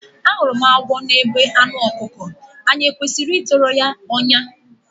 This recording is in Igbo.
Ahụrụ m agwọ n’ebe anụ ọkụkọ, anyị e kwesịrị ịtọrọ ya ọnyà?